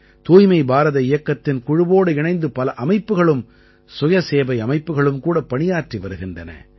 தூய்மை பாரத இயக்கத்தின் குழுவோடு இணைந்து பல அமைப்புக்களும் சுயசேவை அமைப்புக்களும் கூட பணியாற்றி வருகின்றன